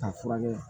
K'a furakɛ